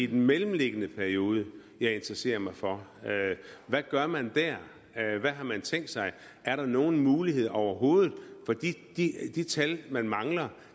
den mellemliggende periode jeg interesserer mig for hvad gør man dér hvad har man tænkt sig er der nogen muligheder overhovedet for de de tal man mangler